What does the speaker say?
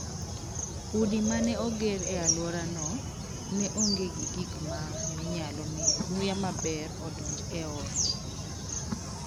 Udi ma ne oger e alworano ne onge gi gik ma ne nyalo miyo muya maber odonj e ot.